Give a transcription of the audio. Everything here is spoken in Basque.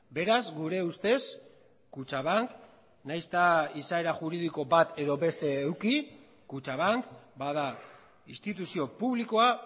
beraz gure ustez kutxabank nahiz eta izaera juridiko bat edo beste eduki kutxabank bada instituzio publikoa